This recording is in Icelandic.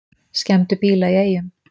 Skemmdu bíla í Eyjum